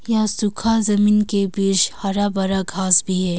यहां सूखा जमीन के बीच हरा भरा घास भी है।